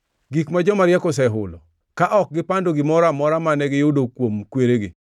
gik ma joma riek osehulo, ka ok gipando gimoro amora mane giyudo kuom kweregi,